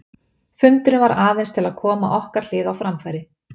Fundurinn var aðeins til að koma okkar hlið á framfæri.